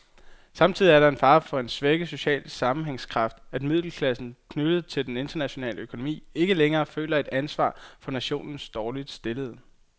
Samtidig er der fare for en svækket social sammenhængskraft, at middelklassen, knyttet til den internationale økonomi, ikke længere føler et ansvar for nationens dårligt stillede.